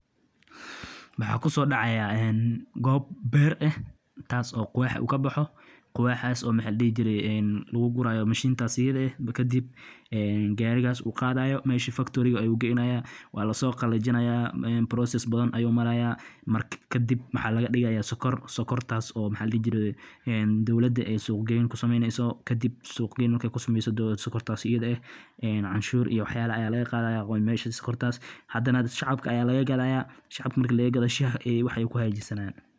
Goosashada sonkorta waa hawl muhiim ah oo loo sameeyo si loo helo macdanta sonkorta ee dabiiciga ah, taasoo ka timaada geedka sonkorta oo u baahan daryeel iyo dulqaad muddo dheer. Marka sonkorta ay gaarto bislaanshaha ugu fiican, oo stalk-yadu ay noqdaan kuwo dhererkoodu ku habboon yahay, waxaa la bilaabaa goosashada. Hawshan waxaa lagu fuliyaa gacanta ama mishiinka iyadoo laga jarayo geedka qaybta hoose ee xididka ku dhow.